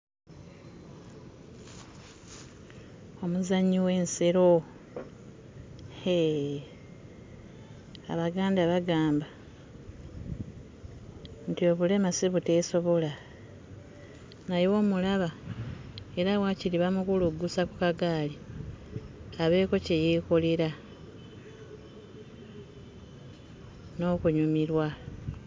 Omuzannyi w'ensero hee Abaganda bagamba nti obulema si buteesobola. Naye omulaba, era waakiri bamukuluggusa ku kagaali abeeko kye yeekolera n'okunyumirwa.